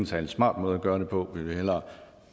særlig smart måde at gøre det på for vi vil hellere